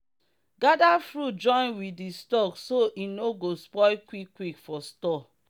gather fruit join with the stalk so e no go spoil quick quick for store.